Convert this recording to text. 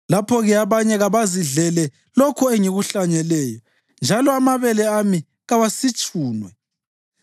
lapho-ke abanye kabazidlele lokho engikuhlanyeleyo, njalo amabele ami kawasitshunwe.